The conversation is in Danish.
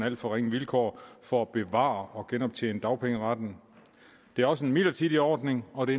alt for ringe vilkår for at bevare og genoptjene dagpengeretten det er også en midlertidig ordning og det